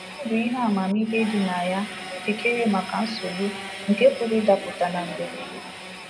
Ọ bụ ihe amamihe dị na ya ijikere maka nsogbu nke pụrụ ịdapụta na mberede